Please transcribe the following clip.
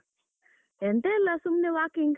ಎಂತ ಇಲ್ಲ ಸುಮ್ನೆ walking.